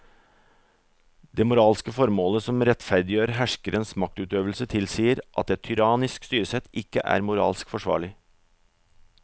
Det moralske formålet som rettferdiggjør herskerens maktutøvelse tilsier at et tyrannisk styresett ikke er moralsk forsvarlig.